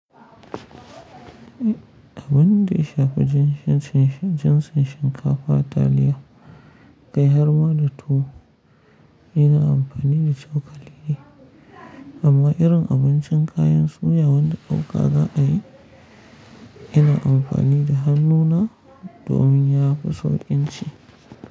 Abin da ya shafi jinshi shinshen, jinsin shinkafa taliya, gaihar ma da tuwo ina amfani da cokali ne. Amma irin abincin kayan soya wanda ɗauka za a yi, ina amfani da hannuna domin ya fi sauƙin ci.